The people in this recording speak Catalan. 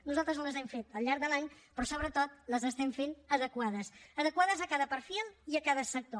nosaltres les hem fet al llarg de l’any però sobretot les estem fent adequades adequades a cada perfil i a cada sector